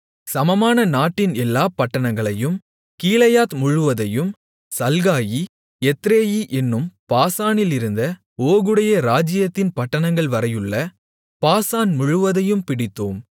சமமான நாட்டின் எல்லாப் பட்டணங்களையும் கீலேயாத் முழுவதையும் சல்காயி எத்ரேயி என்னும் பாசானிலிருந்த ஓகுடைய ராஜ்ஜியத்தின் பட்டணங்கள்வரையுள்ள பாசான் முழுவதையும் பிடித்தோம்